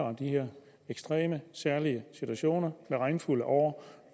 om de ekstreme og særlige situationer med regnfulde år